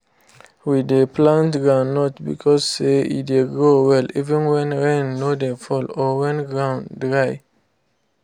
we dey plant groundnut because say e dey grow well even when rain no dey fall or when ground dry